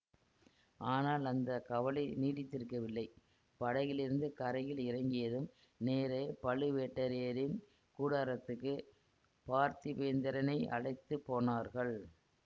ஆனால் அந்த கவலை நீடித்திருக்கவில்லை படகிலிருந்து கரையில் இறங்கியதும் நேரே பழுவேட்டரையரின் கூடாரத்துக்குப் பார்த்திபேந்திரனை அழைத்து போனார்கள்